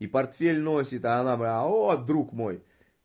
и портфель носит а она блядь о друг мой